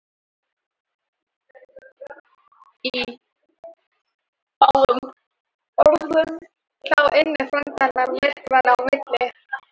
Í fáum orðum, þá ynni frændi hennar myrkranna á milli.